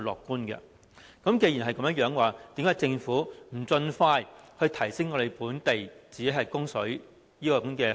既然如此，為甚麼政府不盡快提升自我供水的能力？